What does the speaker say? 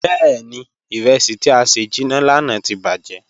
Bẹẹni, iresi ti a sẹ jinna lana ti bajẹ.